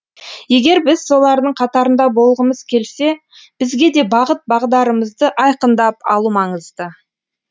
егер біз солардың қатарында болғымыз келсе бізге де бағыт бағдарымызды айқындап алу маңызды